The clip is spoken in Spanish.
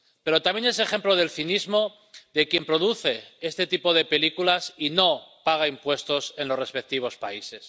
Pero también es ejemplo del cinismo de quien produce este tipo de películas y no paga impuestos en los respectivos países.